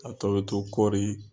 A tɔ bɛ to kɔɔri.